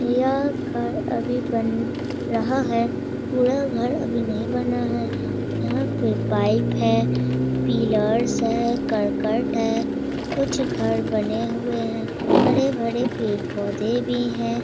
यह घर अभी बन रहा है | यह घर अभी नहीं बना है | यहाँ पे पाइंप है पिलर्स है करकट है | कुछ घर बने हुए हैं | हरे भरे पेड़ पौधे हैं |